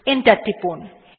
enter টিপুন